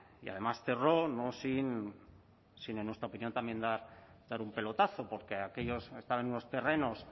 y además cerró no sin sino en nuestra opinión también dar un pelotazo porque aquello estaba en unos terrenos